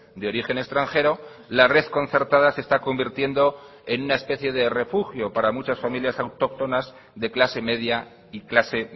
de origen extranjero la red concertada se está convirtiendo en una especie de refugio para muchas familias autóctonas de clase media y clase